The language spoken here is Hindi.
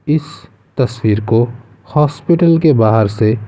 इस तस्वीर को हॉस्पिटल के बाहर से --